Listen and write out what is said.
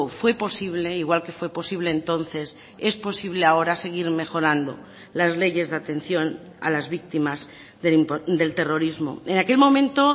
fue posible igual que fue posible entonces es posible ahora seguir mejorando las leyes de atención a las víctimas del terrorismo en aquel momento